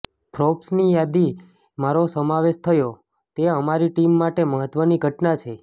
ફોર્બ્સની યાદીમાં મારો સમાવેશ થયો તે અમારી ટીમ માટે મહત્વની ઘટના છે